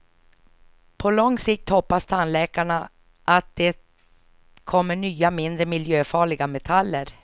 På lång sikt hoppas tandläkarna att det kommer nya, mindre miljöfarliga metaller.